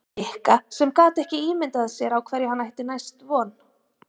Nikka sem gat ekki ímyndað sér á hverju hann ætti næst von.